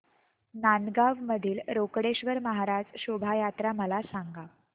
नांदगाव मधील रोकडेश्वर महाराज शोभा यात्रा मला सांग